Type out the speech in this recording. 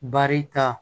Bari ta